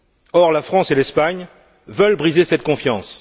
Or, la France et l'Espagne veulent briser cette confiance.